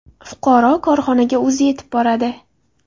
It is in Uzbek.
Fuqaro korxonaga o‘zi yetib boradi.